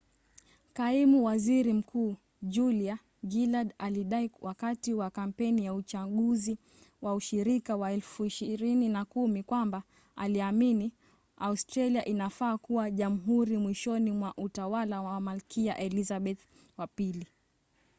kaimu waziri mkuu julia gillard alidai wakati wa kampeni ya uchaguzi wa ushirika wa 2010 kwamba aliamini australia inafaa kuwa jamhuri mwishoni mwa utawala wa malkia elizabeth ii